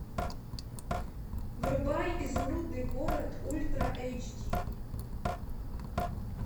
врубай изумрудный город ультра эйч ди